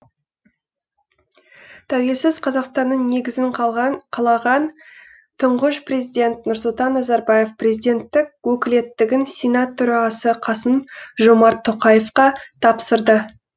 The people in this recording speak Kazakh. тәуелсіз қазақстанның негізін қалаған тұңғыш президент нұрсұлтан назарбаев президенттік өкілеттігін сенат төрағасы қасым жомарт тоқаевқа тапсырды